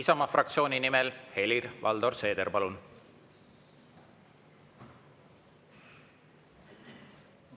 Isamaa fraktsiooni nimel Helir-Valdor Seeder, palun!